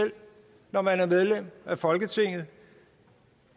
når man er medlem af folketinget